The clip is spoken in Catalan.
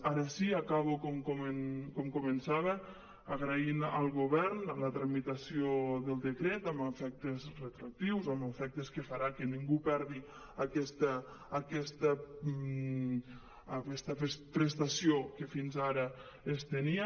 ara sí acabo com començava agraint al govern la tramitació del decret amb efectes retroactius amb efectes que farà que ningú perdi aquesta prestació que fins ara es tenia